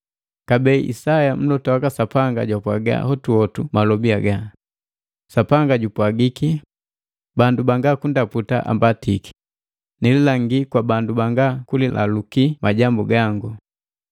Kabee Isaya mlota waka Sapanga jwapwaga hotuhotu malobi haga, “Sapanga jupwagiki, ‘Bandu banga kundaputa ambatiki, nililangii kwa bandu banga kulaluki majambu gangu.’ ”